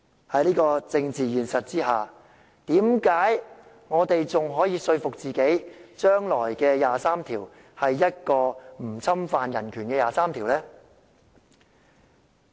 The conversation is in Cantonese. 在這個政治現實下，為何我們還可以說服自己將來有關第二十三條的法例是一項不侵犯人權的法律呢？